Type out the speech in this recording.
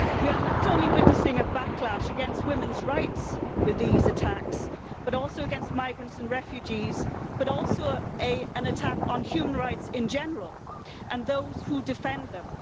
We are not only witnessing a backlash against women's rights with these attacks, and also against migrants and refugees, but also an attack on human rights in general and those who defend them.